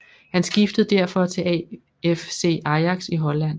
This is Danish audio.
Han skiftede derfor til AFC Ajax i Holland